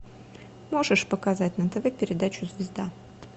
можешь показать на тв передачу звезда